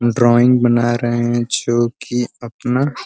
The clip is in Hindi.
ड्राइंग बना रहे हैं जो कि अपना --